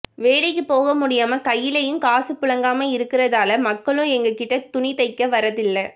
வேலைக்குப் போக முடியாம கையிலயும் காசு புலங்காம இருக்கிறதால மக்களும் என்கிட்ட துணி தைக்க வர்றதில்லை